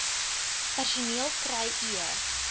personeel kry e